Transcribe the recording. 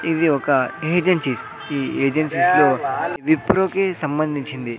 ఇది ఒక ఏజెన్సీస్ ఈ ఏజెన్సీస్ లో విప్రో కి సంబంధించింది.